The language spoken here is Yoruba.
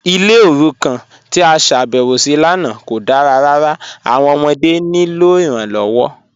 Ilẹ̀ orúkàn tí a ṣábẹ̀wọ sí lánà kò dára ràrà, awọn ọmọdé ní ilọ iranlọwọ